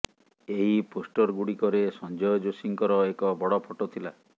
ଏହି ପୋଷ୍ଟରଗୁଡ଼ିକରେ ସଞ୍ଜୟ ଯୋଶୀଙ୍କର ଏକ ବଡ଼ ଫଟୋ ଥିଲା